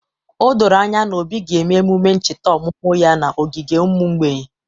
O doro anya na Obi ga-eme emume ncheta ọmụmụ ya n’ogige ụmụ mgbei